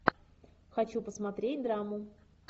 хочу посмотреть драму